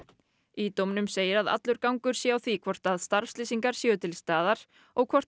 í dómnum segir að allur gangur sé á því hvort starfslýsingar séu til staðar og hvort